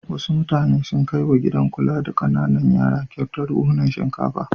Wasu mutane sun kai wa gidan kula da ƙananan yara kyautar buhhunan shinkafa.